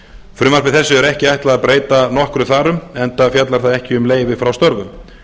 frumvarpi þessu er ekki ætlað að breyta nokkru þar um enda fjallar það ekki um leyfi frá störfum